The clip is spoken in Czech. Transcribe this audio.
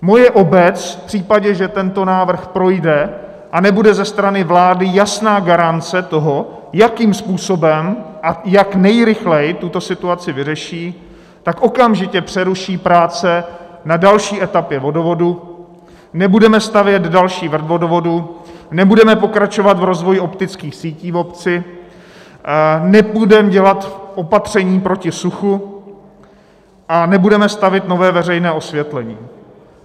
Moje obec, v případě, že tento návrh projde a nebude ze strany vlády jasná garance toho, jakým způsobem a jak nejrychleji tuto situaci vyřeší, tak okamžitě přeruší práce na další etapě vodovodu, nebudeme stavět další vrt vodovodu, nebudeme pokračovat v rozvoji optických sítí v obci, nebudeme dělat opatření proti suchu a nebudeme stavět nové veřejné osvětlení.